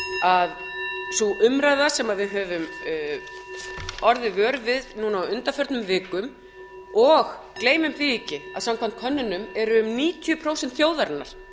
að sú umræða sem við höfum orðið vör við núna á undanförnum vikum og gleymum því ekki að samkvæmt könnunum eru um níutíu prósent þjóðarinnar